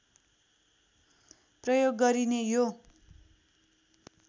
प्रयोग गरिने यो